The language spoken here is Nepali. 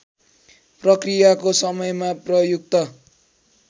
प्रक्रियाको समयमा प्रयुक्त